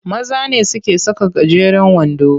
Maza ne suke saka gajeren wando.